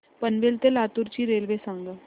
पनवेल ते लातूर ची रेल्वे सांगा